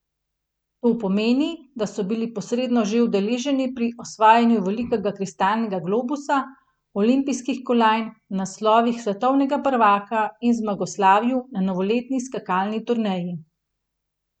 To pomeni, da so bili posredno že udeleženi pri osvajanju velikega kristalnega globusa, olimpijskih kolajn, naslovih svetovnega prvaka in zmagoslavju na novoletni skakalni turneji.